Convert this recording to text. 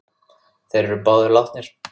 Þeir eru báðir látnir.